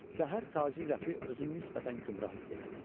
Səhər tacir Rəfi özünü nisbətən gümrah hiss elədi.